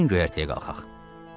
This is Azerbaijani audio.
Gəlin göyərtəyə qalxaq.